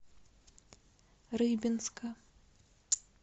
рыбинска